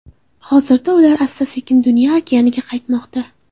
Hozirda ular asta-sekin dunyo okeaniga qaytmoqda.